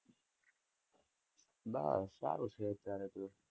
બસ સારું છે અત્યરે તો.